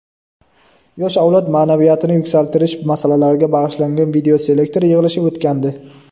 yosh avlod maʼnaviyatini yuksaltirish masalalariga bag‘ishlangan videoselektor yig‘ilishi o‘tgandi.